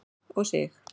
og Sig.